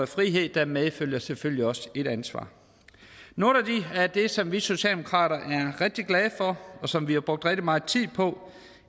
frihed medfølger der selvfølgelig også et ansvar noget af det som vi socialdemokrater er rigtig glade for og som vi har brugt rigtig meget tid på